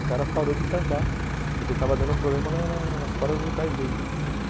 O cara parou de cantar porque estava dando problema na na nas cordas vocais dele.